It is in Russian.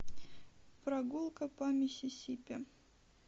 прогулка по миссисипи